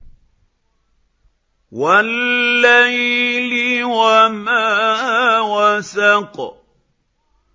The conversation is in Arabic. وَاللَّيْلِ وَمَا وَسَقَ